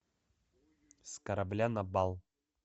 с корабля на бал